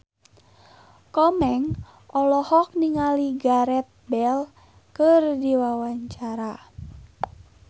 Komeng olohok ningali Gareth Bale keur diwawancara